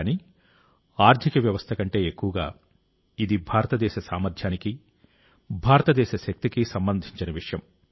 కానీ ఆర్థిక వ్యవస్థ కంటే ఎక్కువగా ఇది భారతదేశ సామర్థ్యానికి భారతదేశ శక్తికి సంబంధించిన విషయం